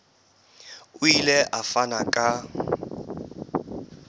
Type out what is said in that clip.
o ile a fana ka